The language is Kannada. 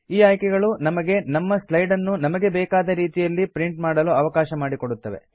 ಈ ಆಯ್ಕೆಗಳು ನಮಗೆ ನಮ್ಮ ಸ್ಲೈಡ್ ಅನ್ನು ನಮಗೆ ಬೇಕಾದ ರೀತಿಯಲ್ಲಿ ಪ್ರಿಂಟ್ ಮಾಡಲು ಅವಕಾಶ ಮಾಡಿ ಕೊಡುತ್ತವೆ